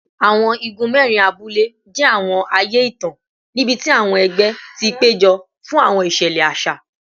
Awọn igun mẹrin abule jẹ awọn aaye itan nibiti awọn ẹgbẹ ti pejọ fun awọn iṣẹlẹ aṣa